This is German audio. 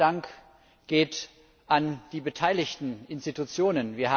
Der zweite Dank geht an die beteiligten Institutionen.